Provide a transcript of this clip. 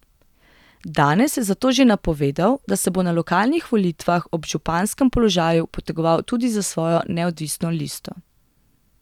Danes je zato že napovedal, da se bo na lokalnih volitvah ob županskem položaju potegoval tudi za svojo neodvisno listo.